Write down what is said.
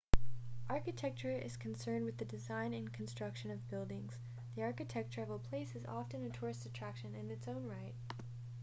architecture is concerned with the design and construction of buildings the architecture of a place is often a tourist attraction in its own right